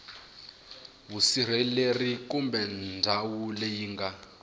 vusirheleri kumbe ndhawu leyi nga